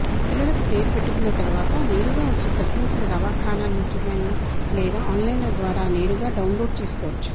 పిల్లలకు పేరు పెట్టుకున్న తరువాత నేరుగా వచ్చి ప్రసవించిన దవాఖాన నుంచిగాని లేదా ఆన్లైన్ద్వారా నేరుగా డౌన్లోడ్ చేసుకోవచ్చు